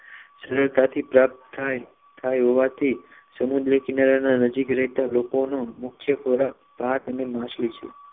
સરળતાથી પ્રાપ્ત થાય થાય હોવાથી સમુદ્ર કિનારે નજીકના રહેતા લોકો નો મુખ્ય ખોરાક ભાત અને માછલી છે